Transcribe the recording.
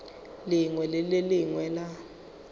lengwe le le lengwe la